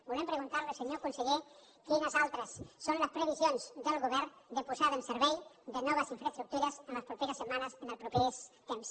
volem preguntar li senyor conseller quines altres són les previsions del govern de posada en servei de noves infraestructures les properes setmanes els propers temps